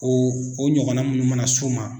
O o ɲɔgɔnna mun mana s'u ma